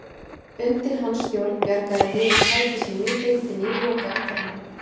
Undir hans stjórn bjargaði liðið sæti sínu í deildinni í lokaumferðinni.